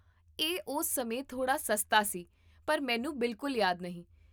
ਇਹ ਉਸ ਸਮੇਂ ਥੋੜਾ ਸਸਤਾ ਸੀ, ਪਰ ਮੈਨੂੰ ਬਿਲਕੁਲ ਯਾਦ ਨਹੀਂ